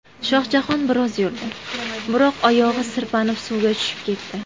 Shohjahon biroz yurdi, biroq oyog‘i sirpanib suvga tushib ketdi.